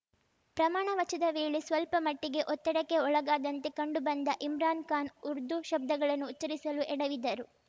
ಪ್ರಮಾಣವಚದ ವೇಳೆ ಸ್ವಲ್ಪ ಮಟ್ಟಿಗೆ ಒತ್ತಡಕ್ಕೆ ಒಳಗಾದಂತೆ ಕಂಡುಬಂದ ಇಮ್ರಾನ್‌ ಖಾನ್‌ ಉರ್ದು ಶಬ್ದಗಳನ್ನು ಉಚ್ಚರಿಸಲು ಎಡವಿದರು